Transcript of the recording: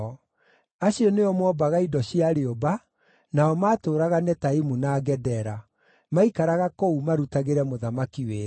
Acio nĩo moombaga indo cia rĩũmba, nao maatũũraga Netaimu na Gedera; maikaraga kũu, marutagĩre mũthamaki wĩra.